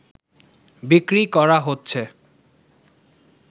বিক্রি করা হচ্ছে